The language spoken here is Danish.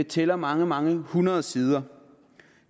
tæller mange mange hundrede sider